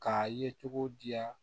K'a ye cogo di yan